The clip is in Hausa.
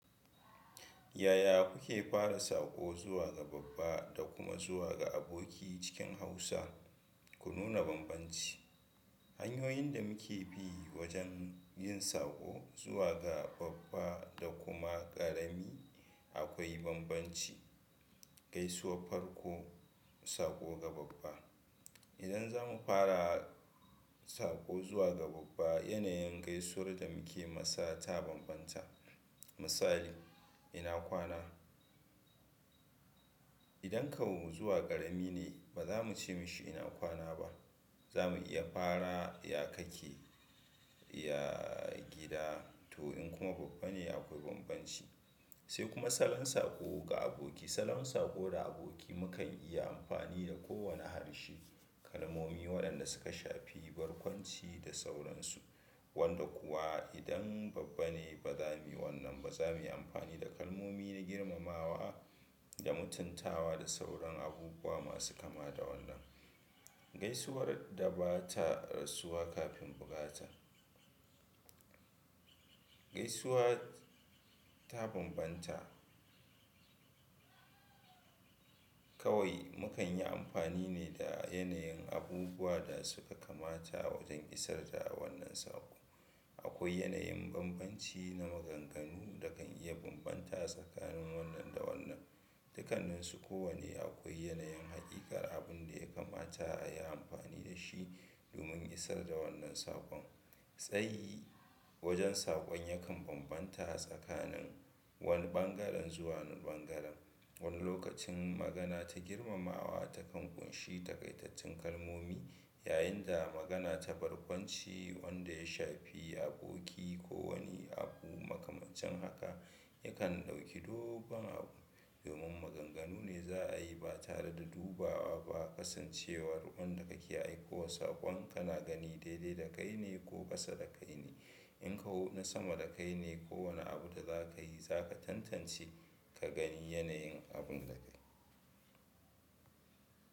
Yaya kuke fara saƙo zuwa ga babba da kuma zuwa ga aboki cikin Hausa ku nuna bambanci? Hanyoyin da muke bi wajen yin saƙo zuwa ga babba da kuma ƙarami akwai bambanci. Gaisuwar farko, saƙo ga babba. Idan za mu fara saƙo zuwa ga babba, yanayin gaisuwar da muke masa ta bambanta. Misali, ina kwana. Idan kawu zuwa ƙarami ne, ba za mu ce dashi ina kwana ba. Za mu iya fara, ya kake? Ya gida? To in kuma babba ne akwai bambanci. Sai kuma salon saƙo ga aboki. Salon saƙo da aboki mukan iya amfani da kowane harshe. Kalmomi waɗanda suka shafi barkwanci da sauransu. Wanda kuwa idan babba ne ba za mu yi wannan ba, ba za mu yi amfani da kalmomi na girmamawa da mutuntawa da sauran abubuwa masu kama da wannan. Gaisuwar da ba ta rasuwa kafin bukata. Gaisuwa ta bambanta. Kawai mukan yi amfani ne da yanayin abubuwa da suka kamata wajen isar da wannan saƙo. Akwai yanayin bambanci na maganganu da kan iya bambanta tsakanin wannan da wannan. Dukaninsu kowane akwai yanayin haƙiƙar abun da ya kamata a yi amfani da shi domin isar da wannan saƙon. Tsayi wajen saƙon yakan bambanta tsakanin wani ɓangaren zuwa wani ɓangaren. Wani lokacin magana ta girmamawa takan ƙunshi takaitattun kalmomi, yayin da magana ta barkwanci wanda ya shafi aboki ko wani abu makamancin haka yakan ɗauki dogon abu. Domin maganganu ne za a yi ba tare da dubawa ba kasancewar wanda kake aikowa saƙon kana gani daidai dakai ne ko ƙasa dakai ne. In kawu na sama dakai ne, kowane abu da za ka yi za ka tantance ka gani yanayin abun da kai.